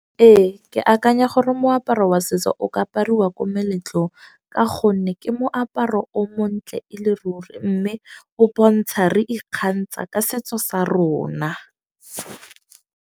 Ee, ke akanya gore moaparo wa setso o ka apariwa ko meletlong. Ka gonne ke moaparo o montle e le ruri. Mme o bontsha re ikgantsha ka setso sa rona.